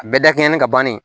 Bɛɛ dakɛɲɛnnen don ka bannen